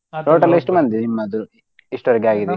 Total ಎಷ್ಟು ಮಂದಿ ನಿಮ್ಮದು ಎಷ್ಟ್ ಒರ್ಗಾಗಿದೆ?